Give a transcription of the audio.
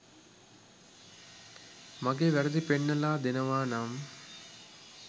මගේ වැරදි පෙන්නලා දෙනවා නම්.